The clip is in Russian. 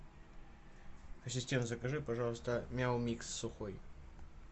ассистент закажи пожалуйста мяу микс сухой